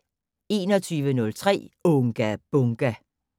21:03: Unga Bunga!